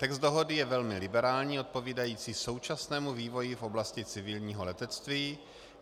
Text dohody je velmi liberální, odpovídající současnému vývoji v oblasti civilního letectví.